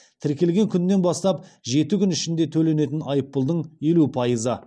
тіркелген күннен бастап жеті күн ішінде төленетін айыппұлдың елу пайызы